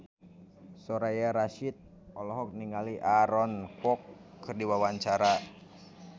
Soraya Rasyid olohok ningali Aaron Kwok keur diwawancara